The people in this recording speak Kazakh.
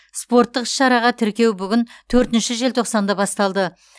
спорттық іс шараға тіркеу бүгін төртінші желтоқсанда басталды